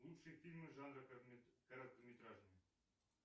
лучшие фильмы жанра короткометражные